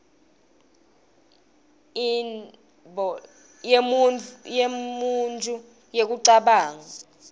inble yemuntju yekucabanga